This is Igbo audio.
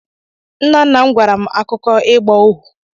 Nna nna m gwara m akụkọ ịgba ohu.